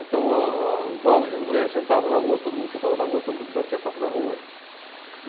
Então ah ah os homens e as mulheres sentavam na rua, todo mundo sentava na rua, todo mundo batia papo na rua.